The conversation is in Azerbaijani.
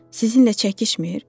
Sizinlə çəkişmir?